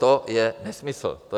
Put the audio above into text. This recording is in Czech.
To je nesmysl.